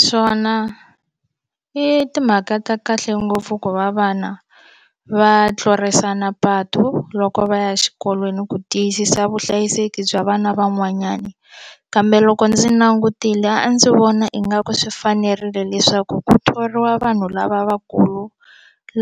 Swona i timhaka ta kahle ngopfu ku va vana va tlurisana patu loko va ya exikolweni ku tiyisisa vuhlayiseki bya vana van'wanyana kambe loko ndzi langutile a ndzi vona ingaku swi fanerile leswaku ku thoriwa vanhu lavakulu